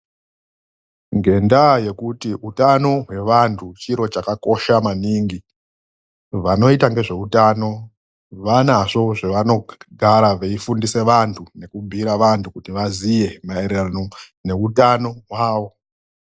NGENDAA YEKUTI UTANO HWEVANTU ,CHIRO CHAKAKOSHA MANINGI VANOITA NEZVEUTANO VANAZVO ZVAVANOGARA VEIFUNDISE VANTU NEKUBHUYIRE VANTU KUTI VAZIYE NAERERANO NEUTANO HWAWO.